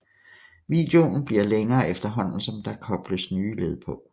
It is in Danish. Videoen bliver længere efterhånden som der kobles nye led på